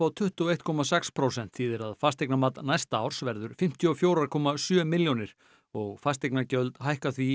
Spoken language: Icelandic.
tuttugu og einn komma sex prósent hækkun þýðir að fasteignamat næsta árs verður fimmtíu og fjóra komma sjö milljónir og fasteignagjöld hækka því í